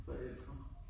Forældre